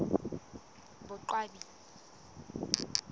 boqwabi